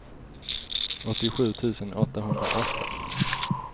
åttiosju tusen åttahundraåtta